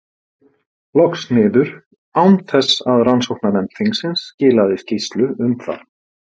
loks niður, án þess að rannsóknarnefnd þingsins skilaði skýrslu um það.